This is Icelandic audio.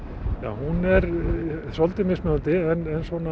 hún er svolítið mismunandi en